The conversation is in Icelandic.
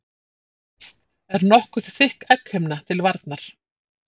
Yst er nokkuð þykk egghimna til varnar.